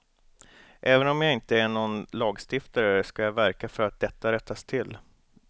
Även om jag inte är nån lagstiftare ska jag verka för att detta rättas till.